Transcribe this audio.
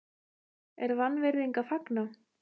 er vanvirðing að fagna?